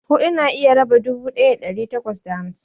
huɗu na iya raba dubu ɗaya da ɗari takwas da tamanin.